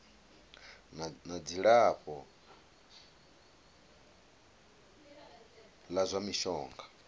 na dzilafho la zwa mishonga